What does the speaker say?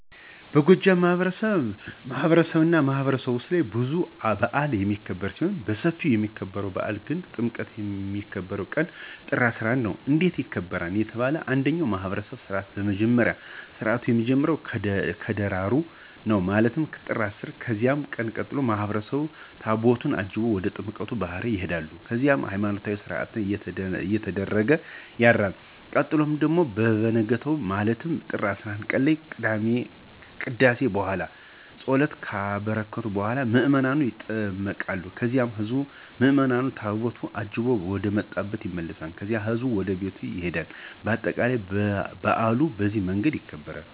በጎጃም ማህበረሰብማህበረሰብ ውስጥ ብዙ በአል የሚክብር ሲሆን በስፊው የሚከበርው በአል ግን ጥምቀት የሚከበርበት ቀን ጥር 11 ነው። እንዴት ይከበራል ለተባለው እንደኛ ማህብረሰብ ስርዓት በመጀመሪያ ስርአቱ የሚጀምረው ከደራሩ ነው ማለትም ጥር 10 ቀን በዚያን ቀን ማህበረሰቡ ታቦታቱን አጅበው ወደ ጥምቀተ ባህር ይሆዳሉ ከዚያም ሀይማኖታዊ ስነስርአት እየተደረገ ያድርል ቀጥሎ በቨነጋው ማለትም ጥር 11ቀን እለት ከቅዳሴ በኋላ ፀበሉን ከባረኩ በኋላ ምዕመኑ ይጠመቃል ከዚያም ህዝብ ምዕምኑ ታቦቱን አጅበው ወደመጣብ ይመለሳል ከዚያም ህዝቡ ወደቤቱ ይሄዳል በአጠቃላይ በአሉ በዚህ መንገድ ይከበራል።